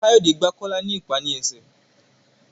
Kayode gbígbà Kola ní ipá ní esè.